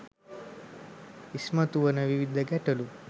ඉස්මතු වන විවිධ ගැටලු